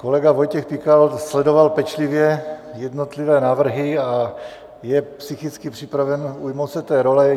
Kolega Vojtěch Pikal sledoval pečlivě jednotlivé návrhy a je psychicky připraven ujmout se té role.